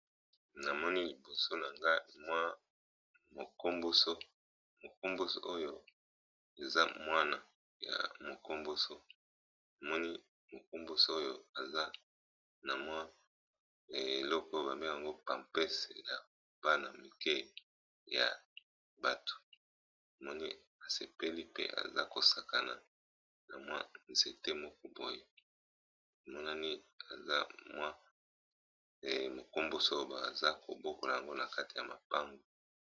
Namoni liboso nanga mwa mokomboso oyo eza mwana ya mokomboso namoni mokomboso oyo aza na mwa eloko ba bengaka yango pampese ya bana mike ya bato, namoni asepeli pe aza ko sakana na mwa nzete moko boye emonani eza mwa mokomboso obe aza kobokola yango na kati ya mapango.